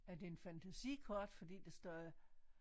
Er det en fantasikort fordi der står